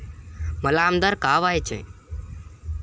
मला आमदार का व्हायचंय?